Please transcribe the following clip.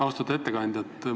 Austatud ettekandja!